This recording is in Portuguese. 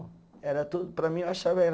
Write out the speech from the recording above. Era tudo, para mim eu achava era